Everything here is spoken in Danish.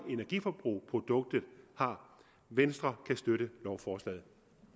energiforbrug produktet har venstre kan støtte lovforslaget